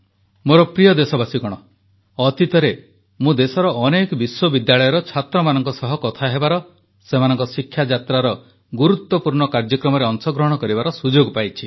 ମୋର ପ୍ରିୟ ଦେଶବାସୀଗଣ ଅତୀତରେ ମୁଁ ଦେଶର ଅନେକ ବିଶ୍ୱବିଦ୍ୟାଳୟର ଛାତ୍ରମାନଙ୍କ ସହିତ କଥା ହେବାର ସେମାନଙ୍କ ଶିକ୍ଷାଯାତ୍ରାର ଗୁରୁତ୍ୱପୂର୍ଣ୍ଣ କାର୍ଯ୍ୟକ୍ରମରେ ଅଂଶଗ୍ରହଣ କରିବାର ସୁଯୋଗ ପାଇଛି